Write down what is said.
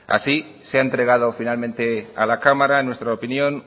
así se ha entregado finalmente a la cámara en nuestra opinión